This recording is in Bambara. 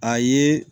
A ye